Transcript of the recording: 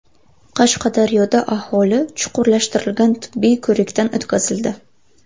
Qashqadaryoda aholi chuqurlashtirilgan tibbiy ko‘rikdan o‘tkazildi.